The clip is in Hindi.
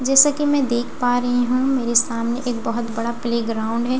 जैसे की मैं देख पा रही हूँ मेरे सामने एक बहुत बड़ा प्ले ग्राउन्ड है जिसमें हरे --